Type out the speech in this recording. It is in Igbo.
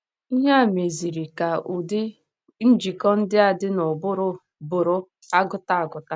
Ihe a meziri ka ụdị njikọ ndị a dị n’ụbụrụ bụrụ agụta agụta.